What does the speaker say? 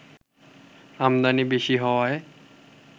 আমদানি বেশি হওয়ায়